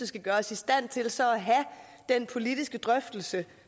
skal gøre os i stand til så at have den politiske drøftelse